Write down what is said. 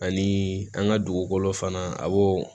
Ani an ka dugukolo fana a b'o